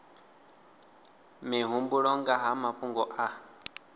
mihumbulo nga ha mafhungo a